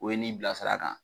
O ye n'i bila sira kan